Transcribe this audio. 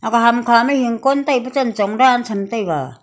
ah ham kha ma hingkon tai pa chan chong dan cham taiga.